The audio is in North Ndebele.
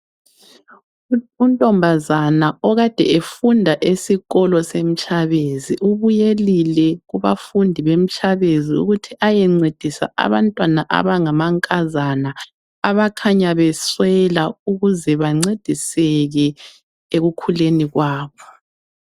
Untombazana okade efunda esikolo seMtshabezi. Ubuyelile kubafundi beMtshabezi ukuthi ayencedisa abantwana abangamankazana abakhanya beswela ukuze bancediseke ekukhuleni kwabo.